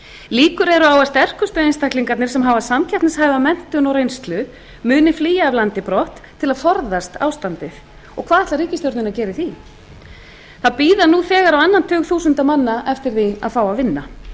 líkur eru á að sterkustu einstaklingarnir sem hafa samkeppnishæfa menntun og reynslu munu flýja af landi brott til að forðast ástandið og hvað ætlar ríkisstjórnin að gera í því það bíða nú þegar á annan tug þúsunda manna eftir því að fá að vinna